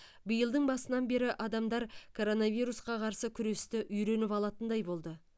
биылдың басынан бері адамдар коронавирусқа қарсы күресті үйреніп алатындай болды